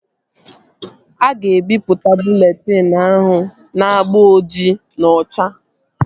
A ga-ebipụta bụleetịn ahụ n'agba ojii na ocha